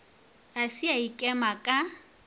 ga se a ikema ka